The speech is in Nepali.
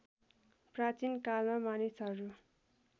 प्राचीन कालमा मानिसहरू